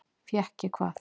Fékk ég hvað?